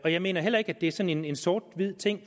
jeg mener heller ikke at det er sådan en sort hvid ting